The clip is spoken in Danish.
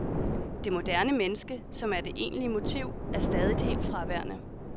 Det moderne menneske, som er det egentlige motiv, er stadig helt fraværende.